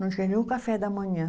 Não tinha nem o café da manhã.